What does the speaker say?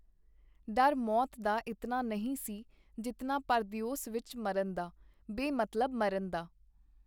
ਡਰ ਮੌਤ ਦਾ ਇਤਨਾ ਨਹੀਂ ਸੀ, ਜਿਤਨਾ ਪਰਦਿਓਸ ਵਿਚ ਮਰਨ ਦਾ, ਬੇਮਤਲਬ ਮਰਨ ਦਾ.